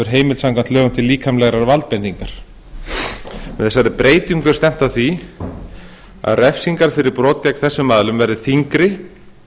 heimild samkvæmt lögum til líkamlegrar valdbeitingar með þessari breytingu er stefnt að því að refsingar fyrir brot gegn þessum aðilum verði þyngri en